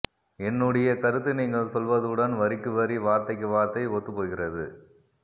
என்னுடைய கருத்து நீங்கள் சொல்வதுடன் வரிக்கு வரி வார்த்தைக்கு வார்த்தை ஒத்துப்போகிறது